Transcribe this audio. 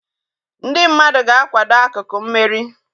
Ndị mmadụ ga-akwado akụkụ mmeri